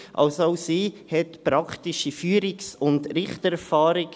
Also, auch sie hat praktische Führungs- und Richtererfahrung.